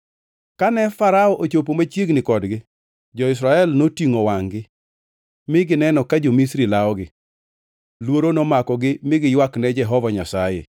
Kane Farao ochopo machiegni kodgi, jo-Israel notingʼo wangʼ-gi mi gineno ka jo-Misri lawogi. Luoro nomakogi mi giywakne Jehova Nyasaye.